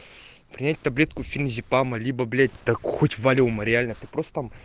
принять таблетку феназепама либо блять так хоть валиума реально ты просто там